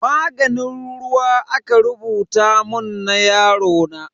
Maganin ruwa aka rubuta mun na yarona.